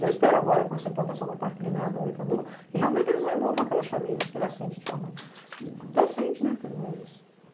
Eu espero agora, com essa implantação do Parque Lineador, que realmente eles removam aquelas famílias que ele assente de forma decente, né, pelo menos.